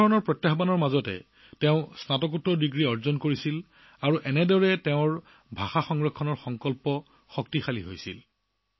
এনে সমস্যাৰ সৈতে মোকাবিলা কৰি তেওঁ স্নাতকোত্তৰ ডিগ্ৰী লাভ কৰিছিল আৰু এইদৰে নিজৰ ভাষা ৰক্ষাৰ সংকল্প সুদৃঢ় কৰিছিল